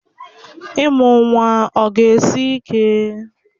Ịmụ nwa ọ ga-esi ike?